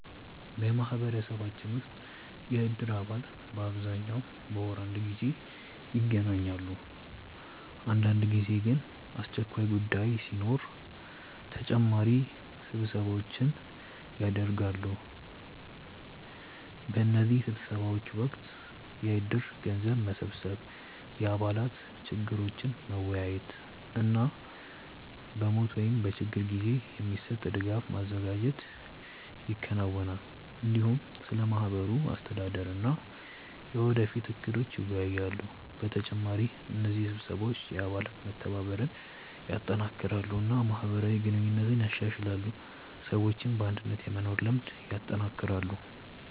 በማህበረሰባችን ውስጥ የእድር አባላት በአብዛኛው በወር አንድ ጊዜ ይገናኛሉ። አንዳንድ ጊዜ ግን አስቸኳይ ጉዳይ ሲኖር ተጨማሪ ስብሰባዎች ይደርሳሉ። በእነዚህ ስብሰባዎች ወቅት የእድር ገንዘብ መሰብሰብ፣ የአባላት ችግሮችን መወያየት እና በሞት ወይም በችግር ጊዜ የሚሰጥ ድጋፍ ማዘጋጀት ይከናወናል። እንዲሁም ስለ ማህበሩ አስተዳደር እና የወደፊት እቅዶች ይወያያሉ። በተጨማሪ እነዚህ ስብሰባዎች የአባላት መተባበርን ያጠናክራሉ እና ማህበራዊ ግንኙነትን ያሻሽላሉ፣ ሰዎችም በአንድነት የመኖር ልምድ ያጠናክራሉ።